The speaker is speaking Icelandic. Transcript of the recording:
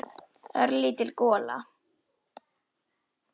Örlítil gola.